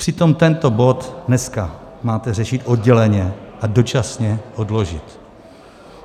Přitom tento bod dnes máte řešit odděleně a dočasně odložit.